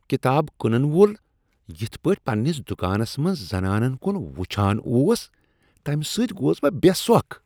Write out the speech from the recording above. کتاب کٕنن وول یِتھ پٲٹھۍ پننِس دکانس منز زنانن کُن وچھان اوس تَمِہ سۭتۍ گوس بہٕ بے سۄکھ ۔